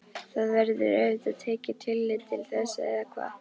Það verður auðvitað tekið tillit til þess eða hvað?